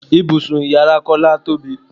Ibùsùn ìyára Kọ́lá tóbi.